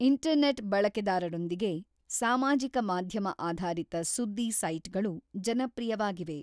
Internet ಬಳಕೆದಾರರೊಂದಿಗೆ, ಸಾಮಾಜಿಕ ಮಾಧ್ಯಮ ಆಧಾರಿತ ಸುದ್ದಿ ಸೈಟ್‌ಗಳು ಜನಪ್ರಿಯವಾಗಿವೆ.